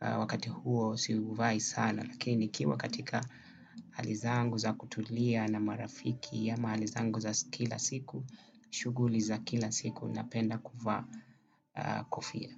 wakati huo si uvai sana. Lakini nikiwa katika hali zangu za kutulia na marafiki ya mahali zangu za kila siku shughuli za kila siku napenda kuvaa kofia.